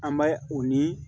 An bɛ o ni